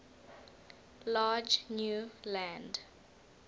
large new land